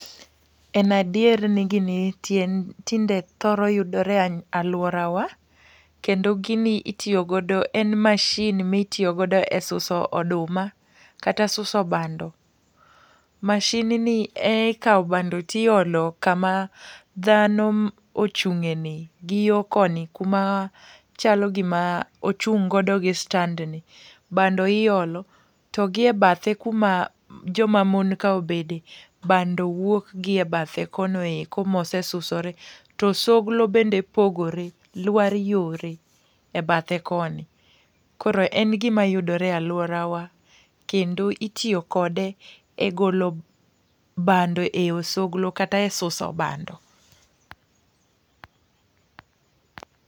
En adier ni gini tinde thoro yudore e alworawa, kendo gini itiyo godo, en machine ma itiyogodo e susu oduma, kata suso bando. machine ni e ikao bando to iolo kama dhano ochungé ni, gi yo koni, kuma chalo gima ochung' godo gi stand ni. Bando iolo, to gi e bathe kuma joma mon ka obede, bando wuok gi e bathe kono eko mosesusore. To osogro bende pogore lwar yore e bathe koni. Koro en gima yudore e alworawa kendo, itiyo kode e golo bando e osogro kata e suso bando.